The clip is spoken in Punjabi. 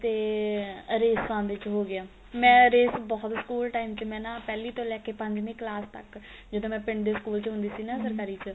ਤੇ ਆ ਰੇਸਾ ਵਿੱਚ ਹੋ ਗਿਆ ਮੈਂ ਰੇਸ ਬਹੁਤ school time ਮੈਂ ਨਾ ਚ ਪਹਿਲੀ ਤੋਂ ਲੈ ਕੇ ਪੰਜਵੀ ਕਲਾਸ ਤੱਕ ਜਦੋਂ ਮੈਂ ਪਿੰਡ ਦੇ school ਚ ਹੁੰਦੀ ਸੀ ਨਾ